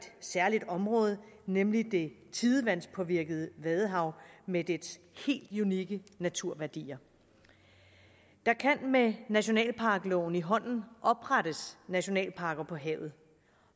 særligt område nemlig det tidevandspåvirkede vadehav med dets helt unikke naturværdier der kan med nationalparkloven i hånden oprettes nationalparker på havet